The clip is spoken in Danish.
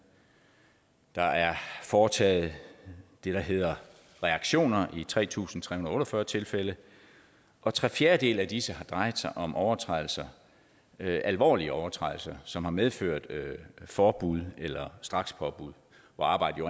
der er foretaget det der hedder reaktioner i tre tusind tre hundrede og otte og fyrre tilfælde og tre fjerdedele af disse har drejet sig om overtrædelser alvorlige overtrædelser som har medført forbud eller strakspåbud hvor arbejdet